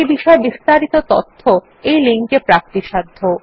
এই বিষয় বিস্তারিত তথ্য এই লিঙ্ক এ প্রাপ্তিসাধ্য